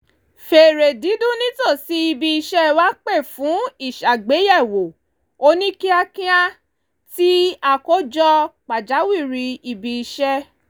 fèrè dídún nítòsí ibi iṣẹ́ wa pè fún ìṣàgbéyẹ̀wò oníkíákíá ti àkójọ pàjáwìrì ibi iṣẹ́